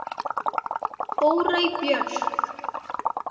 Þórey Björk.